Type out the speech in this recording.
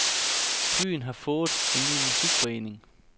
Byen har fået en ny musikforening.